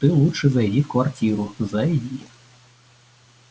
ты лучше зайди в квартиру зайди